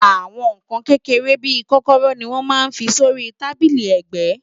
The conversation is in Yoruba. Àwọn nǹkan kékeré bí i kọ́kọ́rọ́ ni wọ́n máa ń fi sí orí tábílì ẹ̀gbẹ́